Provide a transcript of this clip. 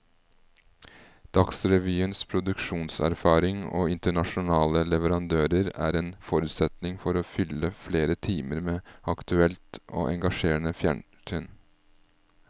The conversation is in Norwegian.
Dagsrevyens produksjonserfaring og internasjonale leverandører er en forutsetning for å kunne fylle flere timer med aktuelt og engasjerende fjernsyn.